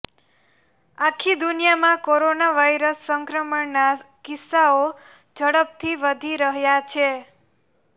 આખી દુનિયામાં corona virus સંક્રમણના કિસ્સાઓ ઝડપથી વધી રહ્યા છે